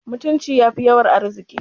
Mutunci yafi yawan arziki